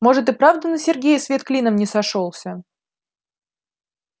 может и правда на сергее свет клином не сошёлся